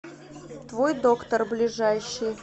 твой доктор ближайший